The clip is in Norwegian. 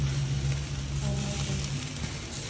Hermann Thomsen